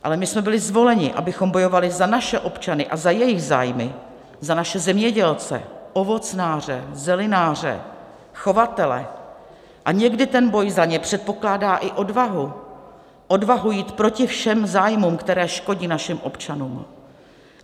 Ale my jsme byli zvoleni, abychom bojovali za naše občany a za jejich zájmy, za naše zemědělce, ovocnáře, zelináře, chovatele, a někdy ten boj za ně předpokládá i odvahu - odvahu jít proti všem zájmům, které škodí našim občanům.